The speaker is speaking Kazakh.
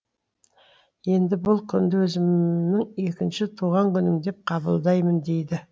енді бұл күнді өзімің екінші туған күнім деп қабылдаймын дейді